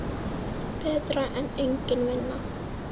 Betra en engin vinna.